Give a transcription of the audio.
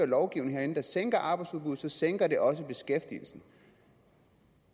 lovgivning herinde der sænker arbejdsudbuddet så sænker det også beskæftigelsen